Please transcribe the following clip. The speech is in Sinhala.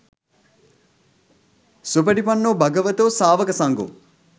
සුපටිපන්නෝ භගවතෝ සාවකසංඝෝ